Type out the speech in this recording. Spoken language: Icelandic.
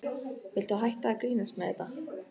Viltu hætta að grínast með þetta!